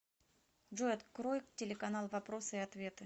джой открой телеканал вопросы и ответы